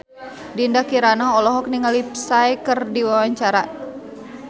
Dinda Kirana olohok ningali Psy keur diwawancara